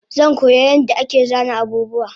Zankoya yadda ake sana abubuwa